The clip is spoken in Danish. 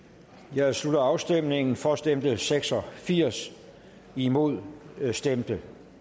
jeg slutter afstemningen for stemte seks og firs imod stemte